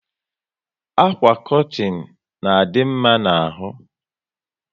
Àkwà kọtin na adị mma n'ahu